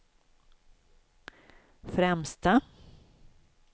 främsta